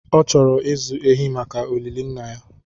Ọ chọrọ ịzụ ehi maka olili nna ya